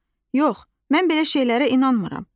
Yox, mən belə şeylərə inanmıram.